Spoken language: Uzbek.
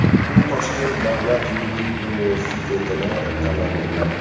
U Toshkent davlat yuridik universitetini tamomlagan.